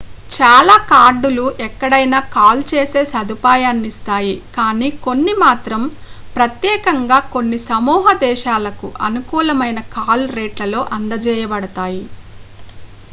చాలా కార్డులు ఎక్కడైనా కాల్ చేసే సదుపాయాన్నిస్తాయి కానీ కొన్ని మాత్రం ప్రత్యేకంగా కొన్ని సమూహ దేశాలకు అనుకూలమైన కాల్ రేట్లలో అందజేయబడతాయి